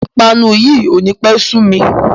Ìpanu yìí ó ní pẹ́ sumi